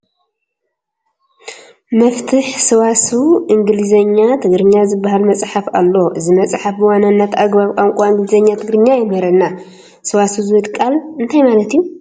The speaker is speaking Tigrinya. መፍትሕ ሰዋስው እንግሊዝኛ ትግርኛ ዝበሃል መፅሓፍ ኣሎ፡፡ እዚ መፅሓፍ ብዋናነት ኣገባብ ቋንቋ እንግሊዝኛ ትግርኛ የምህረና፡፡ ሰዋሰው ዝብል ቃል እንታይ ማለት እዩ?